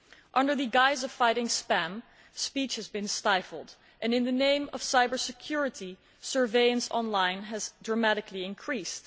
Under the guise of fighting spam, speech has been stifled and, in the name of cyber security, online surveillance has dramatically increased.